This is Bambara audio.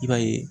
I b'a ye